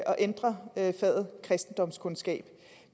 at ændre faget kristendomskundskab